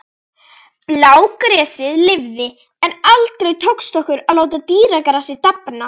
Blágresið lifði, en aldrei tókst okkur að láta dýragrasið dafna.